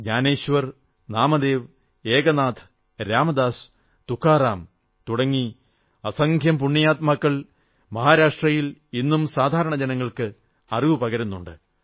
ജ്ഞാനേശ്വർ നാമദേവ് ഏകനാഥ് രാമദാസ് തുക്കാറാം തുടങ്ങി അസംഖ്യം പുണ്യാത്മാക്കൾ മഹാരാഷ്ട്രയിൽ ഇന്നും സാധാരണ ജനങ്ങൾക്ക് അറിവു പകരുന്നുണ്ട്